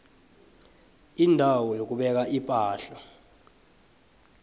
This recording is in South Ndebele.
indawo yokubeka ipahla